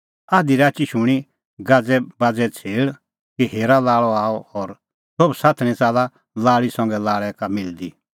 आधी राची शूणीं गाज़ैबाज़ेए छ़ेल़ कि हेरा लाल़अ आअ और सोभ साथणीं च़ाल्ला लाल़ी संघै लाल़ै का मिलदी